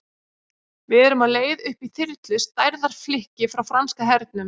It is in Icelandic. Við erum á leið upp í þyrlu, stærðar flikki frá franska hernum.